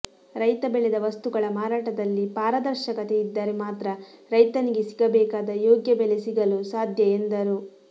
ರೈತ ಬೆಳೆದ ವಸ್ತುಗಳ ಮಾರಾಟದಲ್ಲಿ ಪಾದರರ್ಶಕತೆ ಇದ್ದರೆ ಮಾತ್ರ ರೈತನಿಗೆ ಸಿಗಬೇಕಾದ ಯೋಗ್ಯ ಬೆಲೆ ಸಿಗಲು ಸಾಧ್ಯ ಎಂದರು